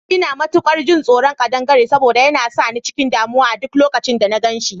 Ina matukar jin tsoron kadangare saboda yana sa ni cikin damuwa a duk lokacin da na gan shi